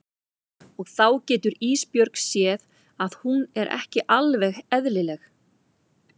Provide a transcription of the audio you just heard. Og þá getur Ísbjörg séð að hún er ekki alveg eðlileg.